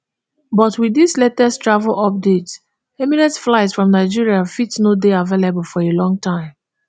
but wit dis latest travel update emirates flights from nigeria fit no dey available for a longer time